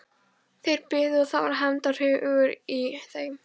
Þeir biðu og það var hefndarhugur í þeim.